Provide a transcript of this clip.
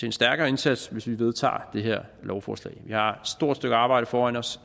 en stærkere indsats hvis vi vedtager det her lovforslag vi har stort stykke arbejde foran os